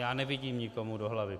Já nevidím nikomu do hlavy.